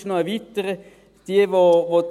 Ich würde die Liste sogar erweitern.